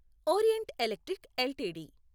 orient Electric LTD